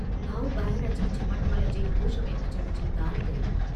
भाउ बाहिर अची झमटमल जे होश में अचण जी गाल्हि कई।